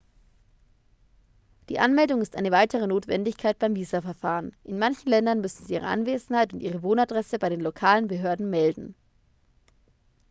die anmeldung ist eine weitere notwendigkeit beim visaverfahren in manchen ländern müssen sie ihre anwesenheit und ihre wohnadresse bei den lokalen behörden melden